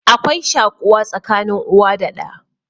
Akwai shaƙuwa tsakanin uwa da ɗa